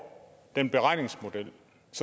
den beregningsmodel